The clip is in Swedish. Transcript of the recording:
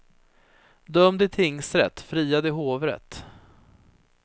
Dömd i tingsrätt, friad i hovrätt.